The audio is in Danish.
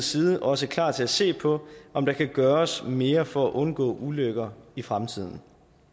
side også klar til at se på om der kan gøres mere for at undgå ulykker i fremtiden